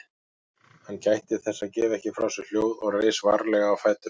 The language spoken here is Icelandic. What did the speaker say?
Hann gætti þess að gefa ekki frá sér hljóð og reis varlega á fætur.